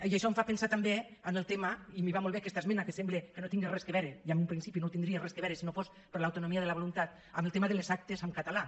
i això em fa pensar també en el tema i m’hi va molt bé aquesta esmena que sembla que no hi tinga res a veure i en un principi no hi tindria res a veure si no fos per l’autonomia de la voluntat de les actes en català